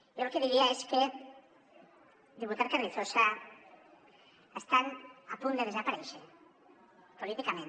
jo el que diria és que diputat carrizosa estan a punt de desaparèixer políticament